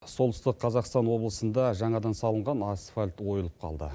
солтүстік қазақстан облысында жаңадан салынған асфальт ойылып қалды